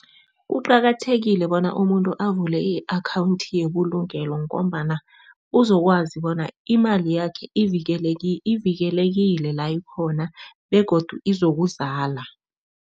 Kuqakathekile bona umuntu avule i-akhawundi yebulungelo ngombana uzokwazi bona imali yakhe ivikelekile la ikhona begodu izokuzala.